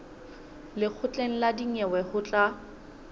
lekgotleng la dinyewe ho tla